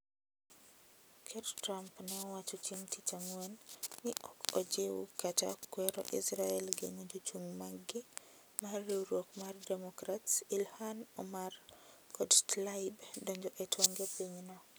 Ker Trump ne owacho chieng' tich ang'wen ni ok o jiw kata kuero Israel geng'o jochung mag gi mar riwruok mar democrats illhan omar kod Tlaib donjo e tong'e pinyno